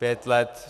Pět let.